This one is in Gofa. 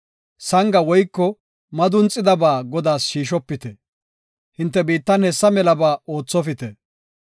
Sanga woyko madunxidaba Godaas yarshofite. Hinte biittan hessa melaba oothopite.